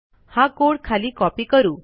हा कोड खाली कॉपी करू